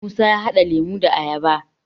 musa ya hada lemo da ayaba